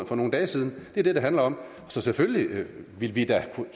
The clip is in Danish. for nogle dage siden det er det det handler om så selvfølgelig ville vi da have